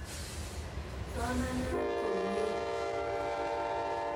Somanat komnye.